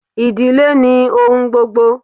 Idile ni ohun gbogbo